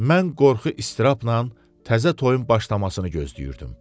Mən qorxu istirabla təzə toyun başlamasını gözləyirdim.